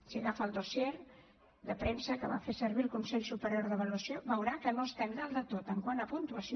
si agafa el dossier de premsa que va fer servir el consell superior d’avaluació veurà que no estem dalt de tot quant a puntuació